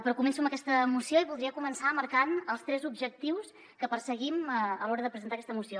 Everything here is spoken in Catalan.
però començo amb aquesta moció i voldria començar marcant els tres objectius que perseguim a l’hora de presentar aquesta moció